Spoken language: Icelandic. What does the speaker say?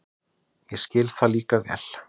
Ég skil það líka vel.